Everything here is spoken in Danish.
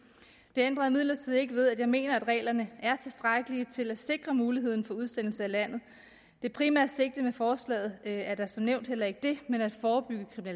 det ændrer imidlertid ikke ved at jeg mener at reglerne er tilstrækkelige til at sikre muligheden for udsendelse af landet det primære sigte med forslaget er da som nævnt heller ikke det men at forebygge